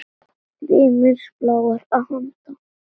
Ritmísk ró blásara að handan.